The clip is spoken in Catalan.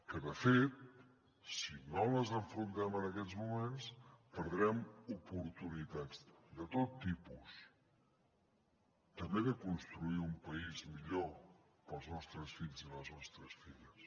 que de fet si no les afrontem en aquests moments perdrem oportunitats de tot tipus també de construir un país millor per als nostres fills i les nostres filles